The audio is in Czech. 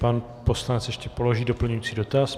Pan poslanec ještě položí doplňující dotaz.